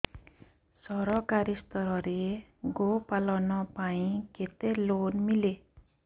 ସରକାରୀ ସ୍ତରରେ ଗୋ ପାଳନ ପାଇଁ କେତେ ଲୋନ୍ ମିଳେ